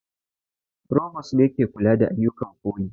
Frovost ne ke kula da ayyukan foli